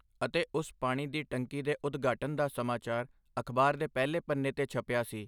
ਅਤੇ ਉਸ ਪਾਣੀ ਦੀ ਟੰਕੀ ਦੇ ਉਦਘਾਟਨ ਦਾ ਸਮਾਚਾਰ ਅਖ਼ਬਾਰ ਦੇ ਪਹਿਲੇ ਪੰਨੇ ਤੇ ਛਪਿਆ ਸੀ।